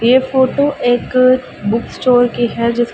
ये फोटो एक book stall की है जिस--